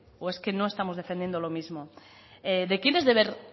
o es que no estamos defendiendo lo mismo de quién es deber